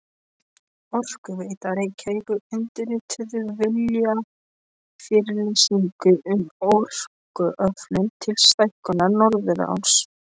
Orkuveita Reykjavíkur undirrituðu viljayfirlýsingu um orkuöflun til stækkunar Norðuráls.